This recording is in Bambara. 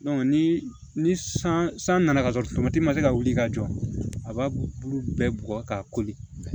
ni ni san san nana ka sɔrɔ ma se ka wuli ka jɔ a b'a bulu bɛɛ bugɔ k'a koli